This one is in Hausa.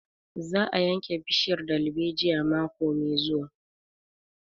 Za a yanke bishiyar dalbejiyar mako mai zuwa